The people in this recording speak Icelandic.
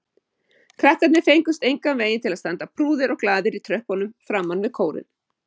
Krakkarnir fengust engan veginn til að standa prúðir og glaðir í tröppunum framan við kórinn.